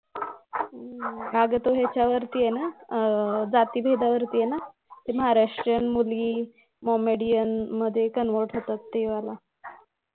अगं ते ह्याच्यावर्ती आहे ना आह जातीभेदावर्ती आहे ना ते महाराष्ट्रीयन मुली मोमेडीअन मध्ये convert होतात ते वाला